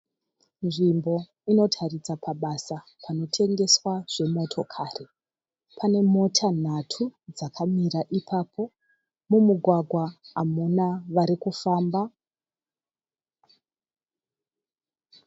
Nzvimbo inotaridza pabasa pano tengeswa zvemotokari. Pane mota nhatu dzakamira ipapo. Mumugwagwa hamuna vari kufamba.